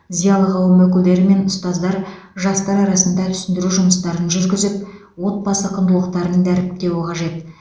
зиялы қауым өкілдері мен ұстаздар жастар арасында түсіндіру жұмыстарын жүргізіп отбасы құндылықтарын дәріптеуі қажет